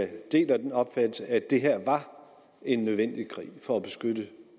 deler den opfattelse at det her var en nødvendig krig for at beskytte